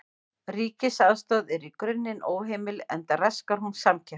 Ríkisaðstoð er í grunninn óheimil enda raskar hún samkeppni.